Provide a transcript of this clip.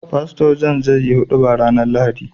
Pastor john zai yi huduba rAnar lahadi